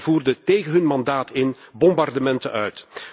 Zij voerden, tegen hun mandaat in, bombardementen uit.